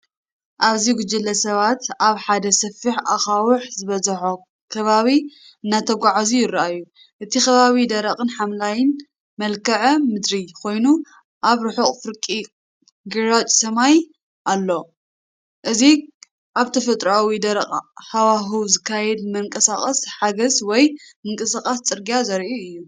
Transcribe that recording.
ኣብዚ ጉጅለ ሰባት ኣብ ሓደ ሰፊሕ ኣኻውሕ ዝበዝሖ ከባቢ እናተጓዕዙ ይረኣዩ። እቲ ከባቢ ደረቕን ሓምላይን መልክዓ ምድሪ ኮይኑ፡ ኣብ ርሑቕ ፍርቂ ግራጭ ሰማይ ኣሎ። እዚ ኣብ ተፈጥሮኣዊ ደረቕ ሃዋህው ዝካየድ ምንቅስቓስ ሓገዝ ወይ ምንቅስቓስ ጽርግያ ዘርኢ እዩ።